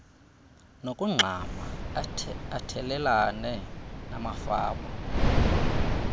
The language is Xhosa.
nokugxama athelelane namafama